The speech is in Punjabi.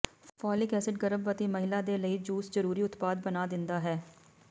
ਫੋਲਿਕ ਐਸਿਡ ਗਰਭਵਤੀ ਮਹਿਲਾ ਦੇ ਲਈ ਜੂਸ ਜ਼ਰੂਰੀ ਉਤਪਾਦ ਬਣਾ ਦਿੰਦਾ ਹੈ